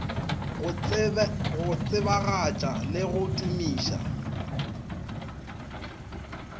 go tsebagatša le go tumiša